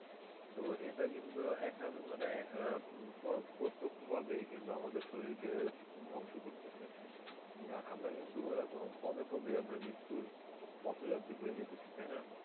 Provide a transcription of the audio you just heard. তো এটা কিন্তু একসাথে মানে আহ প~ প্রতক্ষ ভাবেই কিন্তু আমাদের শরীরকে ধ্বংস করতেছে না আমরা কিন্তু এরকম পদে পদেই আমরা মৃত্যুর পথ যাত্রী হয়ে যেতেছি তাই না?